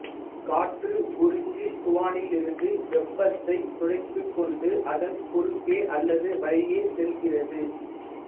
காற்று உறிஞ்சுவானிலிருந்து வெப்பத்தைத் துடைத்துக்கொண்டு அதன் குறுக்கே அல்லது வழியே செல்கிறது